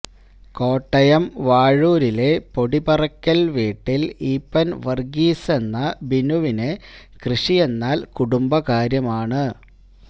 കോട്ടയം വാഴൂരിലെ പൊടിപാറക്കൽ വീട്ടിൽ ഈപ്പൻ വർഗീസെന്ന ബിനുവിന് കൃഷിയെന്നാൽ കുടുംബകാര്യമാണ്